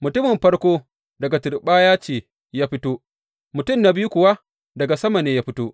Mutumin farko daga turɓaya ce ya fito, mutum na biyu kuwa daga sama ne ya fito.